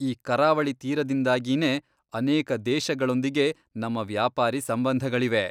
ಈ ಕರಾವಳಿ ತೀರದಿಂದಾಗಿನೇ ಅನೇಕ ದೇಶಗಳೊಂದಿಗೆ ನಮ್ಮ ವ್ಯಾಪಾರೀ ಸಂಬಂಧಗಳಿವೆ.